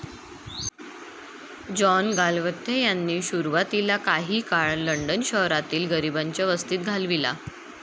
John Galsworthy यांनी सुरवातीला काही काळ लंडन शहरातील गरिबांच्या वस्तीत घालविला.